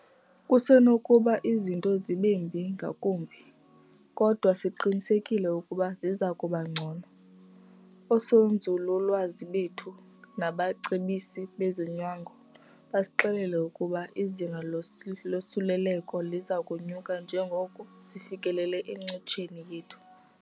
Kusenokuba izinto zibe mbi ngakumbi, kodwa siqinisekile ukuba ziza kuba ngcono. Oosonzululwazi bethu nabacebisi bezonyango basixelele ukuba izinga losuleleko liza kunyuka njengoko sifikelela encotsheni yethu.